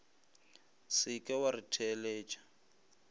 se ke wa re theletša